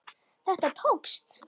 Þetta tókst.